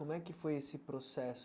Como é que foi esse processo?